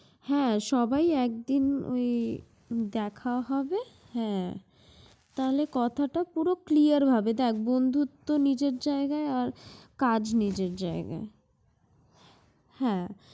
হ্যাঁ সবাই একদিন ঐ দেখা হবে হ্যাঁ, তাহলে কথাটা পুরো clear ভাবে। দেখ বন্ধুত্ব নিজের জায়গায় আর কাজ নিজের জায়গায়, হ্যাঁ।